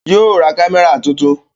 Yóò ra kámẹ́rà tuntun